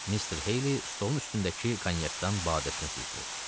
Mister Heyli stolun üstündəki konyakdan badəsinə süzdü.